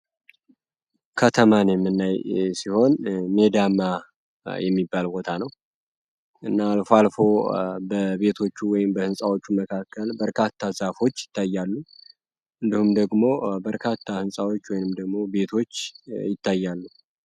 ከተማን የምናይ ሲሆን ሜዳማ ቦታ ነው አልፎ አልፎ በርካታ ዛፎች ይታያሉ እንደውም ደግሞ በርካታ ህንፃዎች ይታያሉ።